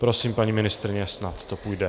Prosím, paní ministryně, snad to půjde.